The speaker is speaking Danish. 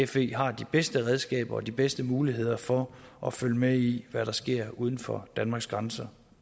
fe har de bedste redskaber og de bedste muligheder for at følge med i hvad der sker uden for danmarks grænser